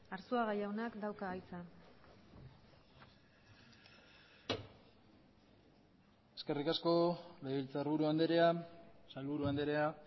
arzuaga jaunak dauka hitza eskerrik asko legebiltzarburu andrea sailburu andrea